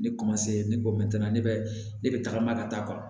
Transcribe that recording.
Ne ne ko ne bɛ ne bɛ tagama ka taa